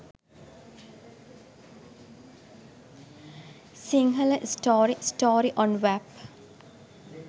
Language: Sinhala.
sinhala story story on wap